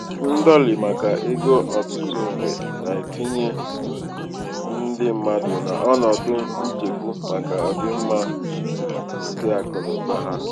ndọlị maka um ego ọtụtụ mgbe um na-etinye na-etinye ndị mmadụ n'ọnọdụ nchegbu maka ọdịmma keakụnaụba ha.